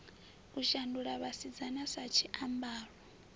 u shandula vhasidzana sa tshiambaro